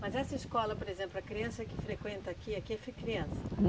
Mas essa escola, por exemplo, a criança que frequenta aqui, aqui é criança?